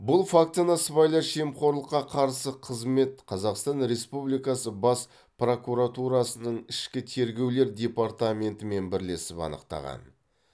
бұл фактіні сыбайлас жемқорлыққа қарсы қызмет қазақстан республикасы бас прокуратурасының ішкі тергеулер департаментімен бірлесіп анықтаған